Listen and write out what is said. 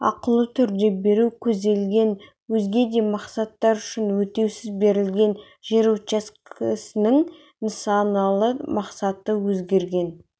ақылы түрде беру көзделген өзге де мақсаттар үшін өтеусіз берілген жер учаскесінің нысаналы мақсаты өзгерген